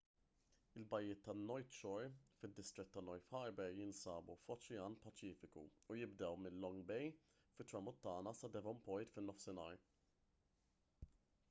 il-bajjiet tan-north shore fid-distrett ta’ north harbour jinsabu f-oċean paċifiku u jibdew minn long bay fit-tramuntana sa devonport fin-nofsinhar